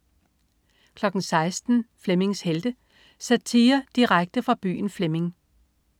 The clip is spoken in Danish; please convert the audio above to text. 16.00 Flemmings Helte. Satire direkte fra byen Flemming